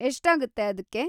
ಎಷ್ಟಾಗುತ್ತೆ ಅದ್ಕೆ?